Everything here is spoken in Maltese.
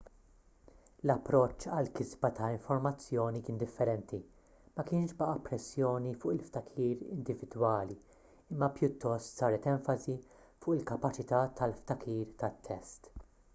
l-approċċ għall-kisba ta' informazzjoni kien differenti ma kienx baqa' pressjoni fuq il-ftakir individwali imma pjuttost saret enfasi fuq il-kapaċità tal-ftakir tat-test